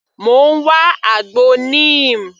Mò ń wá àgbo Neem.